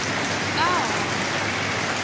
kahoho